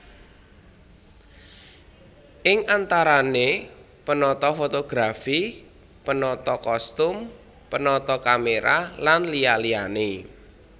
Ing antarané penata fotografi penata kostum penata kamera lan liya liyané